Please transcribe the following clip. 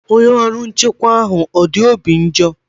Onye ọrụ nchekwa ahụ ọ dị obi ọjọọ?